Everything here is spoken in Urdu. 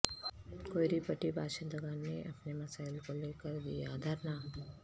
کوئیری پٹی باشندگان نے اپنے مسائل کو لیکردیا دھرنا